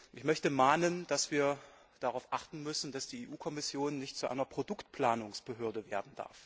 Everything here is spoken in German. Ich möchte mahnen, dass wir darauf achten müssen, dass die Europäische Kommission nicht zu einer Produktplanungsbehörde wird.